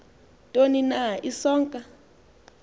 ntoni na isonka